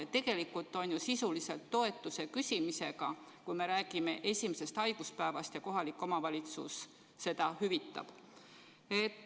Ja sisuliselt on ju tegu toetuse küsimisega, kui me räägime esimesest haiguspäevast ja kohalik omavalitsus seda hüvitab.